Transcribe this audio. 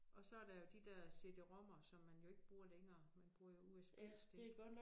Og så der jo de der cd-rommer som man jo ikke bruger længere. Man bruger jo usb-stik